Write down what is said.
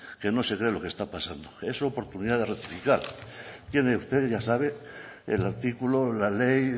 que no se cree lo que está pasando es su oportunidad de rectificar tiene usted ya sabe el artículo o la ley